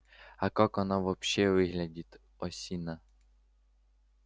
а как она вообще выглядит осина